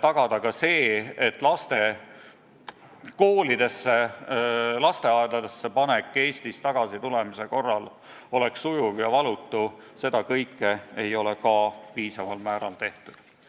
tagada ka see, et tagasitulnute laste kooli või lasteaeda panek oleks sujuv ja valutu – seda kõike ei ole piisaval määral tehtud.